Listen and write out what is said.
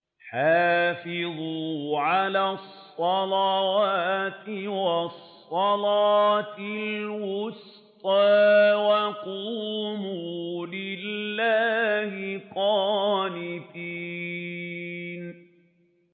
حَافِظُوا عَلَى الصَّلَوَاتِ وَالصَّلَاةِ الْوُسْطَىٰ وَقُومُوا لِلَّهِ قَانِتِينَ